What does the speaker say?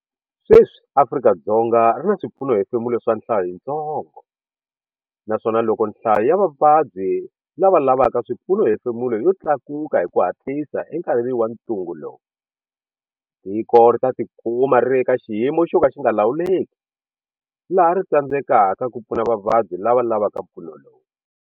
Sweswi Afrika-Dzonga ri na swipfunohefemulo swa nhlayo yintsongo naswona loko nhlayo ya vavabyi lava lavaka swipfunohefemulo yo tlakuka hi ku hatlisa enkarhini wa ntungu lowu, tiko ri ta tikuma ri ri eka xiyimo xo ka xi nga lawuleki laha ri tsandzekaka ku pfuna vavabyi lava lavaka mpfuno lowu.